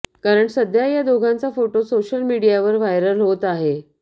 कारण सध्या या दोघांचा फोटो सोशल मीडियावर व्हायरल होत आहे